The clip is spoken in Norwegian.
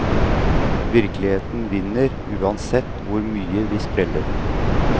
Virkeligheten vinner, uansett hvor mye vi spreller.